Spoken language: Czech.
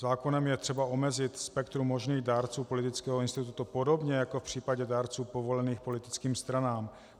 Zákonem je třeba omezit spektrum možných dárců politického institutu, podobně jako v případě dárců povolených politickým stranám.